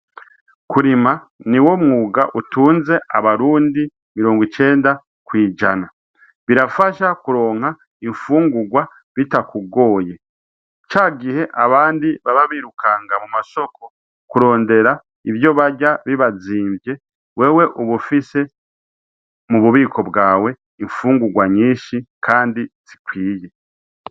Kurima ni wo mwuga utunze abarundi mirongo icenda kwijana birafasha kuronka imfungurwa bitakugoye ca gihe abandi baba birukanga mu mashoko kurondera ivyo barya bibazimvye wewe ubufise mu bubiko bwawe imfungurwa nyinshi, kandi zikwiye.